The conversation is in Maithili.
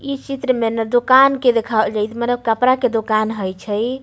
इ चित्र में ने दोकान के देखावल जे मतलब कपड़ा के दोकान हेय छै।